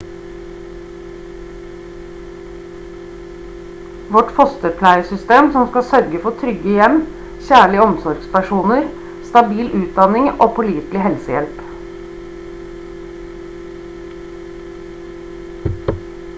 vårt fosterpleiesystem skal sørge for trygge hjem kjærlige omsorgspersoner stabil utdanning og pålitelig helsehjelp